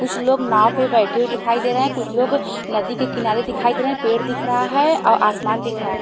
कुछ लोग नाव पे बेठे हुए दिखाई देरे है कुछ लोग नदी के किनारे दिखाई देरे है पेड़ दिखरा है औ आसमान दिख रहा है।